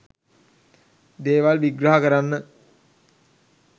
දේවල් විග්‍රහ කරන්න